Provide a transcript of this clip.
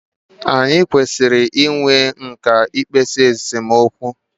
Anyị kwesịrị i nwe nkà i kpezi esemokwu.